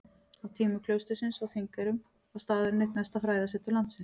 Á tímum klaustursins á Þingeyrum var staðurinn eitt mesta fræðasetur landsins.